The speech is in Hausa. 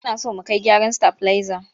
Muna so mu kai gyaran stabilizer.